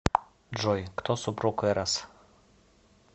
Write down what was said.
джой кто супруг эрос